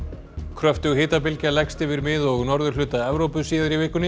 kröftug hitabylgja leggst yfir mið og norðurhluta Evrópu síðar í vikunni